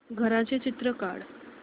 घराचं चित्र काढ